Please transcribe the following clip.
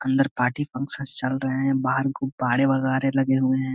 अंदर party function चल रहे हैं। बाहर गुब्बारे वगारे लगे हुए हैं।